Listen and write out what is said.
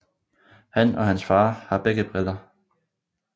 Han og hans far har begge briller